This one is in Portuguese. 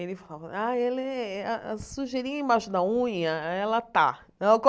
Ele fala, ah ela é a a sujeirinha embaixo da unha, ela tá.